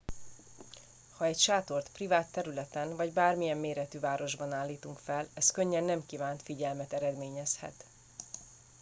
ha egy sátort privát területen vagy bármilyen méretű városban állítunk fel ez könnyen nem kívánt figyelmet eredményezhet